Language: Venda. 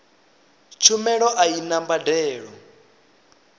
tshumelo a i na mbadelo